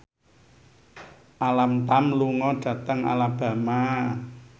Alam Tam lunga dhateng Alabama